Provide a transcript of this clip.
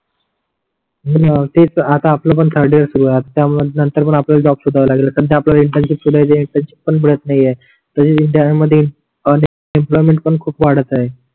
हो णा तेच आता आपल पण थर्ड इयर आता त्यामध्ये नंतर पण आपल्याला जॉब सोधा लागेल कारण आपल्याला इंटरशिप ते मिळत इंटरशिप पण मिळत नाही आहे तसेच इंडिया मध्ये अन एम्प्लॉयमेंट खूप वाटत आहे